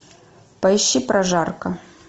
поищи прожарка